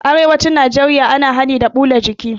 A arewacin najeriya ana hani da huda jiki